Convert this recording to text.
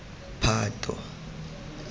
phato